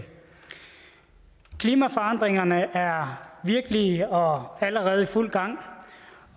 klimaforandringerne er virkelige og allerede i fuld gang